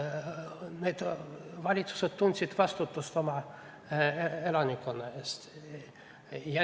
Need valitsused tundsid vastutust oma elanikkonna ees.